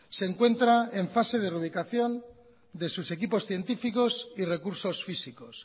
se encuentra en fase de reubicación de sus equipos científicos y recursos físicos